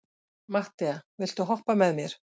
Matthea, viltu hoppa með mér?